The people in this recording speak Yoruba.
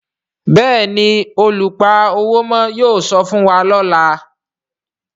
Béèni oluṣowo yóò sọfún wá lọla.